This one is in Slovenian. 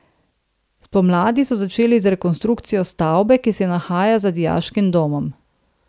Spomladi so začeli z rekonstrukcijo stavbe, ki se nahaja za dijaškim domom.